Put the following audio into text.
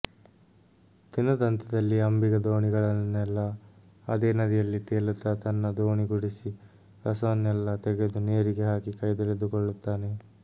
ದಿನದಂತ್ಯದಲ್ಲಿ ಅಂಬಿಗ ದೋಣಿಯೊಳಗನ್ನೆಲ್ಲ ಅದೇ ನದಿಯಲ್ಲಿ ತೇಲುತ್ತಾ ತನ್ನ ದೋಣಿ ಗುಡಿಸಿ ಕಸವನ್ನೆಲ್ಲ ತೆಗೆದು ನೀರಿಗೆ ಹಾಕಿ ಕೈತೊಳೆದುಕೊಳ್ಳುತ್ತಾನೆ